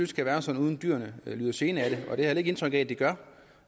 skal være sådan at dyrene ikke lider gene af det og det har jeg indtryk af at de gør